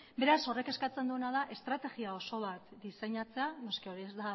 beraz horrek eskatzen duena da estrategia oso bat diseinatzea noski hori